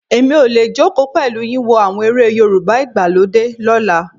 Èmi ò lè jókòó pẹ̀lú yín wo àwọn eré Yorùbá ìgbàlódé lọ́la.